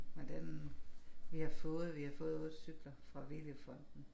Men den vi har fået vi har fået vores cykler fra Willy fonden